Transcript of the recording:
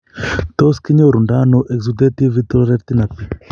Tos kinyoru ndo ano exudative vitreoretinapathy ?